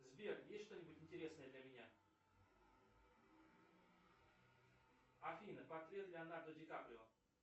сбер есть что нибудь интересное для меня афина портрет леонардо ди каприо